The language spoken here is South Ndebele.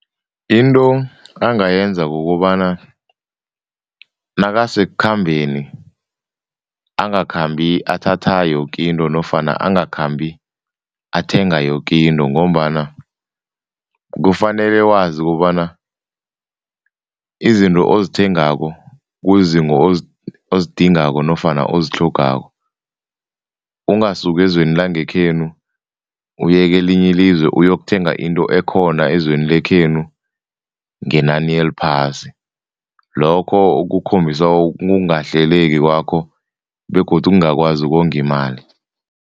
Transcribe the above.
Into angayenza kukobana nakasekukhambeni angakhambi athatha yoke into nofana angakhambi athenga yoke into. Ngombana kufanele wazi kobana izinto ozithengako kuzizinto ozidingako nofana ozitlhogako. Ungasuki ezweni langekhenu uyekelinye ilizwe uyokuthenga into ekhona ezweni lekhenu ngenani eliphasi, lokho kukhombisa ukungahleleki kwakho begodu ukungakwazi ukonga imali.